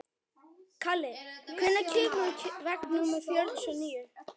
Kalli, hvenær kemur vagn númer fjörutíu og níu?